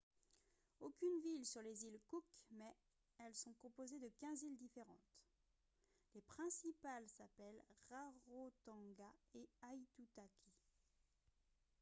aucune ville sur les îles cook mais elles sont composées de 15 îles différentes les principales s'appellent rarotonga et aitutaki